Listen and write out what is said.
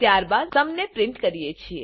ત્યાર બાદ આપણે સુમ સમને પ્રિન્ટ કરીએ છે